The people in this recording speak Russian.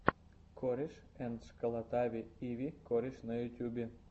корешэндшколотави и ви кореш на ютьюбе